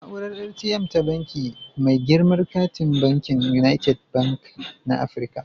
Na'urar ATM ta Banki, mai girman katin bankin United Bank na Afirka